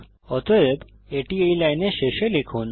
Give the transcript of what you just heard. অতএব এটি এই লাইনের শেষে লিখুন